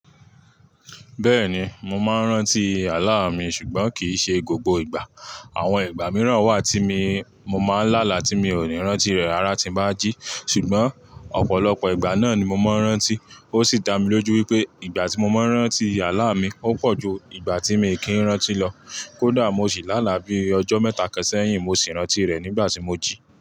Bẹ́ẹ̀ni, mo máa ń rántí àlá mi ṣùgbọ́n kì í ṣe gbogbo ìgbà. Àwọn ìgbà mìíràn wà tí mi mo máa ń lá là tí mi ò ní rántí rẹ̀ ara tí ń bá jí ṣùgbọ́n ọ̀pọ̀lọpọ̀ ìgbà náà ni mo máa ń rántí. Ó sì dá mi lójú wípé ìgbà tí mo máa ń rántí àlá mi ó pọ̀ ju ìgbà tí mi kì í rántí lọ. Kódà mo sì lá là bí ọjọ́ mẹ́ta kan seyin, mo sì rántí rẹ̀ nígbà tí mo jí.